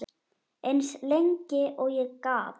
Eins lengi og ég gat.